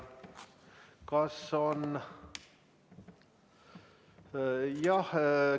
Kas on?